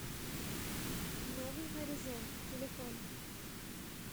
новый горизонт телефон